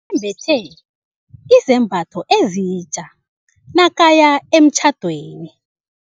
bethe izambatho ezitja nakaya emtjhadweni.